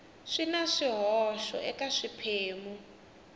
swi na swihoxo eka swiphemu